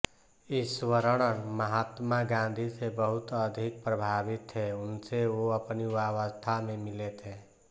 इश्वरण महात्मा गाँधी से बहुत अधिक प्रभावित थे उनसे वो अपनी युवावस्था में मिले थे